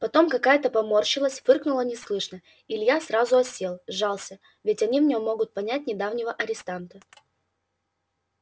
потом какая-то поморщилась фыркнула неслышно и илья сразу осел сжался ведь они в нем могут понять недавнего арестанта